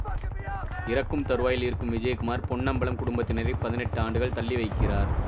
இறக்கும் தருவாயில் இருக்கும் விஜயகுமார் பொன்னம்பலம் குடும்பத்தினரை பதினெட்டு ஆண்டுகள் தள்ளி வைக்கிறார்